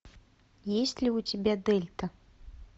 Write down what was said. есть ли у тебя дельта